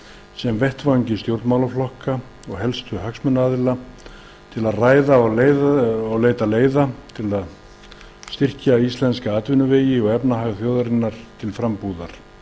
sem vettvangi stjórnmálaflokka og helstu hagsmunaaðila til að ræða og leita leiða til að styrkja íslenska atvinnuvegi og efnahag þjóðarinnar til frambúðar